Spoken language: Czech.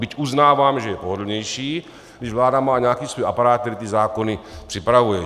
Byť uznávám, že je pohodlnější, když vláda má nějaký svůj aparát, který ty zákony připravuje.